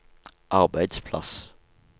arbeidsplass